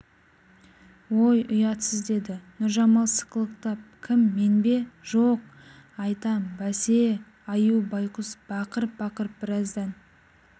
ой ұятсыз деді нұржамал сықылықтап кім мен бе жоқ айтам бәсе аю байқұс бақырып-бақырып біраздан